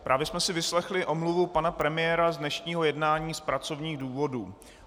Právě jsme si vyslechli omluvu pana premiéra z dnešního jednání z pracovních důvodů.